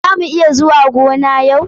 Za mu iya zuwa gona na?